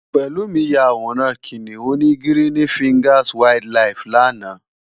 Pelumi yá àwórán Kiniún ni Girini Fingás Wàáild Làíf làná